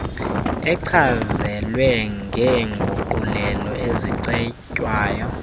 echazelwe ngeenguqulelo ezicetywayo